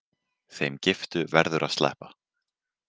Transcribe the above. Þeim giftu verður að sleppa.